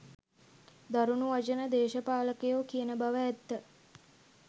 දරුණු වචන දේශපාලකයෝ කියන බව ඇත්ත.